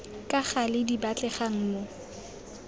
ka gale di batlegang mo